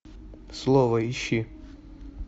слово ищи